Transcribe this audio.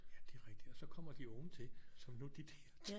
Ja det er rigtigt og så kommer de unge til som nu de der